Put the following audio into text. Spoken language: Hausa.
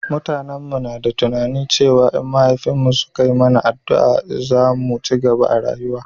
mutanen mu na da tunani cewa in mahaifin mu suka mana addua za mu cigaba a rayuwa